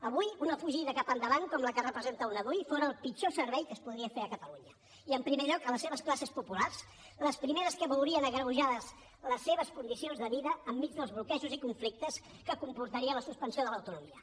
avui una fugida cap endavant com la que representa una dui fora el pitjor servei que es podria fer a catalunya i en primer lloc a les seves classes populars les primeres que veurien agreujades les seves condicions de vida enmig dels bloquejos i conflictes que comportaria la suspensió de l’autonomia